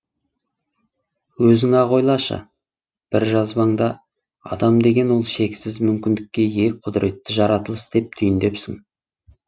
өзің ақ ойлашы бір жазбаңда адам деген ол шексіз мүмкіндікке ие құдіретті жаратылыс деп түйіндепсің